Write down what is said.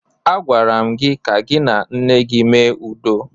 Agwara m gị ka gị na nne gị mee udo!